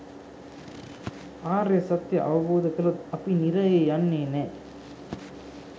ආර්ය සත්‍යය අවබෝධ කළොත් අපි නිරයේ යන්නේ නෑ.